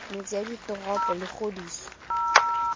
metse ya ditoropo le kgodiso